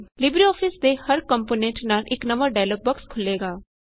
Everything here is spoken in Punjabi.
ਲਿਬਰੇਆਫਿਸ ਦੇ ਹਰ ਕੰਪੋਨੈਂਟ ਨਾਲ ਇਕ ਨਵਾਂ ਡਾਇਲੋਗ ਬੋਕਸ ਖੁੱਲੇਗਾ